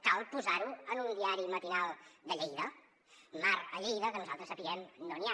cal posar ho en un diari matinal de lleida mar a lleida que nosaltres sapiguem no n’hi ha